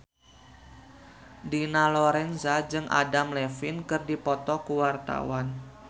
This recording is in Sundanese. Dina Lorenza jeung Adam Levine keur dipoto ku wartawan